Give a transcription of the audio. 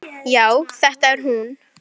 Já, þetta er hún.